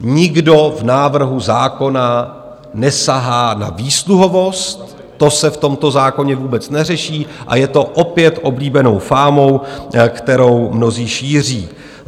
Nikdo v návrhu zákona nesahá na výsluhovost, to se v tomto zákoně vůbec neřeší a je to opět oblíbenou fámou, kterou mnozí šíří.